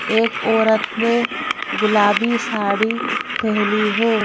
एक औरत ने गुलाबी साड़ीपहनी है।